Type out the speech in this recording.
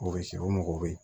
U bɛ se u mago bɛ